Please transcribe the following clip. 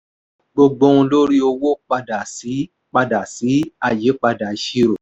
gbogbo ohun lórí owó padà sí padà sí àyípadà ìṣirò.